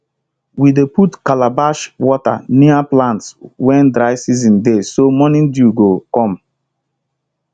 we dey put calabash water near plants when dry season dey so morning dew go come